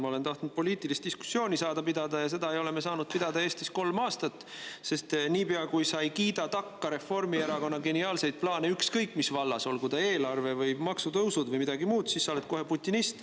Ma olen tahtnud poliitilist diskussiooni pidada ja seda ei ole me saanud pidada Eestis kolm aastat, sest niipea, kui sa ei kiida takka Reformierakonna geniaalsetele plaanidele ükskõik mis vallas, olgu see eelarve või maksutõusud või midagi muud, siis sa oled kohe putinist.